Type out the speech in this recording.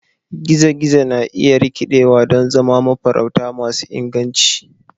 gizo-gizo na iya rikidewa don zama mafarauta masu inganci.